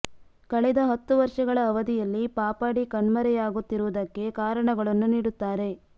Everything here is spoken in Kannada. ಕಳೆದ ಹತ್ತು ವರ್ಷಗಳ ಅವಧಿಯಲ್ಲಿ ಪಾಪಡಿ ಕಣ್ಮರೆಯಾಗು ತ್ತಿರುವುದಕ್ಕೆ ಕಾರಣಗಳನ್ನು ನೀಡು ತ್ತಾರೆ